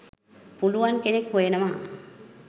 පුළුවන් කෙනෙක් හොයනවා.